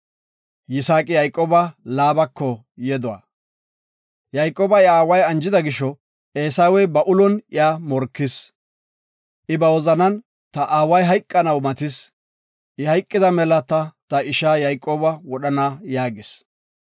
Yayqooba iya aaway anjida gisho, Eesawey ba ulon iya morkis. I ba wozanan, “Ta aaway hayqanaw matis. I hayqida mela ta isha Yayqooba wodhana” yaagis.